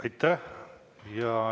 Aitäh!